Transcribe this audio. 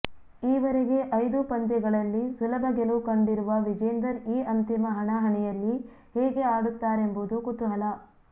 ಈವರೆಗೆ ಐದೂ ಪಂದ್ಯಗಳಲ್ಲಿ ಸುಲಭ ಗೆಲುವು ಕಂಡಿರುವ ವಿಜೇಂದರ್ ಈ ಅಂತಿಮ ಹಣಾಹಣಿಯಲ್ಲಿ ಹೇಗೆ ಆಡುತ್ತಾರೆಂಬುದು ಕುತೂಹಲ